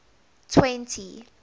twenty